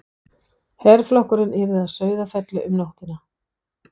Herflokkurinn yrði að Sauðafelli um nóttina.